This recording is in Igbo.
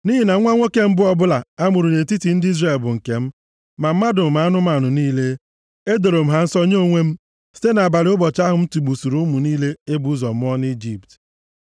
Nʼihi na nwa nwoke mbụ ọbụla a mụrụ nʼetiti ndị Izrel bụ nke m, ma mmadụ ma anụmanụ niile. Edoro m ha nsọ nye onwe m, site nʼabalị ụbọchị ahụ m tigbusiri ụmụ niile e bụ ụzọ mụọ nʼIjipt.